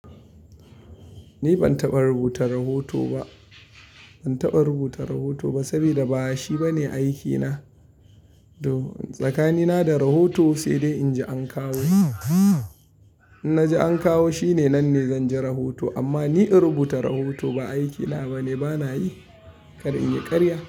Ni ban taɓa rubuta rahoto ba, ban taɓa rubuta rahoto ba sabida ba shi ba ne aiki na. Tsakani na da rahoto sai dai in ji an kawo. In na ji an kawo shi ne nan ne zan ji rahoto. Amma ni in rubuta rahoto, ba aiki na ba ne, banayi. Kar in yi ƙarya.